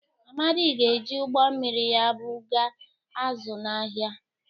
Amadi ga-eji ụgbọ mmiri ya bụ ga azụ̀ n’ahịa.